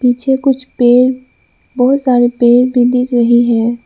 नीचे कुछ पेड़ बहुत सारे पेड़ भी दिख रही है।